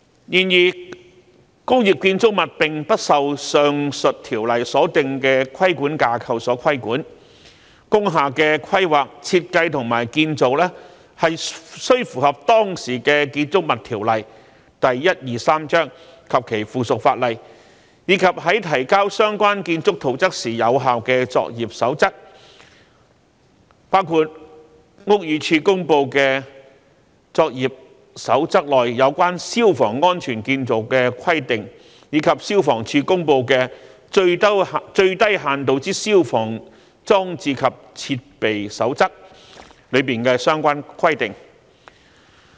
然而，工業建築物並不受上述條例所訂的規管架構所規管，工廈的規劃、設計及建造須符合當時的《建築物條例》及其附屬法例，以及在提交相關建築圖則時有效的作業守則，包括屋宇署公布的作業守則內有關消防安全建造的規定，以及消防處公布的《最低限度之消防裝置及設備守則》裏的相關規定。